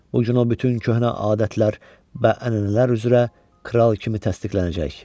Bu gün o bütün köhnə adətlər və ənənələr üzrə kral kimi təsdiqlənəcək.